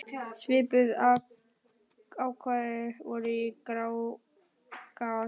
Svipuð ákvæði voru í Grágás.